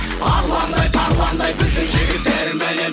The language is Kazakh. арландай тарландай біздің жігіттер міне